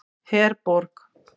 Herborg